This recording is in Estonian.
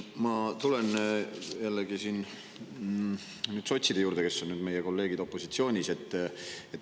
Ma tulen jällegi sotside juurde, kes on nüüd meie kolleegid opositsioonis.